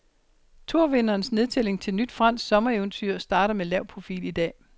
Tourvinderens nedtælling til nyt fransk sommereventyr starter med lav profil i dag.